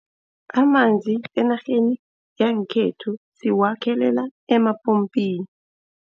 Amanzi enarheni yangekhethu siwakhelela emapompini.